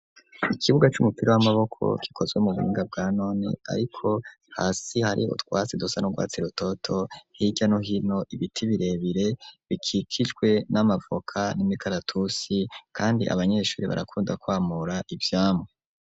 Ikibuga c'umupira w'amaboko gikozwe mu buhinga bwa none ariko hasi hari utwatsi dusa n'urwatsi rototo hirya no hino ibiti birebire bikikijwe n'amavoka n'imikaratusi kandi abanyeshure barakunda kwamura ivyamwa.